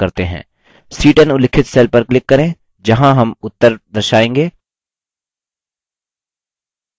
c10 उल्लिखित cell पर click करें जहाँ हम उत्तर दर्शाएँगे